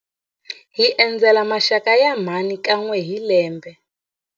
Hi endzela maxaka ya mhani kan'we hi lembe.